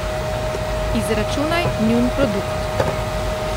Izračunaj njun produkt.